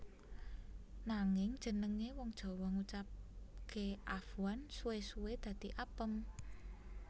Nanging jenengé wong Jawa ngucapké afwan suwé suwé dadi apem